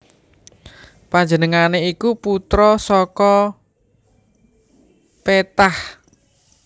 Panjenengané iku putra saka Ptah